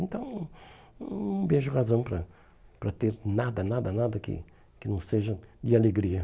Então, não vejo razão para para ter nada, nada, nada que que não seja de alegria.